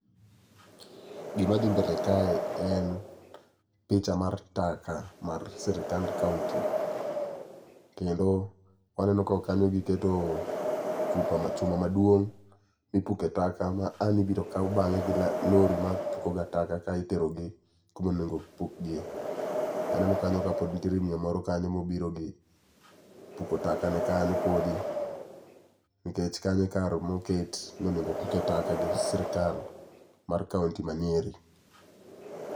Gima dhi mbele kae en picha mar tak mar sirikand kaonti. Kendo waneno ka e kanyo giketo chupa chuma maduong' mipuke taka ma an ibiro kaw bang'e gi lori ma pukoga taka ka iterogi kumonego pukgie. Aneno kanyo kapod nitiere miyo moro kanyo mobiro gi puko taka ne kanyo podi, nikech kanyo e kar moket nonego opuke taka gi sirkal mar kaonti ma Nyeri.